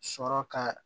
Sɔrɔ ka